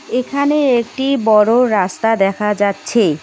এখানে একটি বড় রাস্তা দেখা যাচ্ছে।